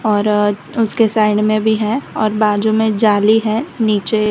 और उसके साइड में भी है और बाजू में जाली है नीचे--